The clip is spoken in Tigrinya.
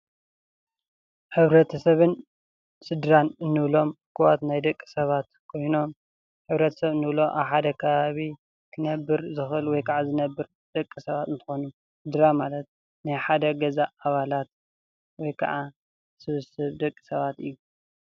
ሕብረተሰብን ስድራን እንብሎም እኩባት ናይ ደቂ ሰባት ኮይኖም ሕብረተሰብ እንብሎ ኣብ ሓደ ከባቢ ክነብር ዝክእል ወይ ከዓ ዝነብር ደቂ ሳባት እንትኮኑ ስድራ ማለት ናይ ሓደ ገዛ ኣባላት ወይ ከዓ ስብስብ ደቂ ሰባት እዩ፡፡